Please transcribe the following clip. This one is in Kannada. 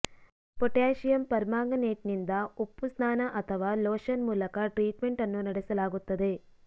ಪೊಟ್ಯಾಸಿಯಮ್ ಪರ್ಮಾಂಗನೇಟ್ನಿಂದ ಉಪ್ಪು ಸ್ನಾನ ಅಥವಾ ಲೋಷನ್ ಮೂಲಕ ಟ್ರೀಟ್ಮೆಂಟ್ ಅನ್ನು ನಡೆಸಲಾಗುತ್ತದೆ